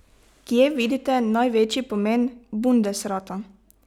Kje vidite največji pomen bundesrata?